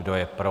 Kdo je pro?